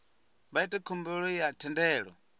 vha ite khumbelo ya thendelo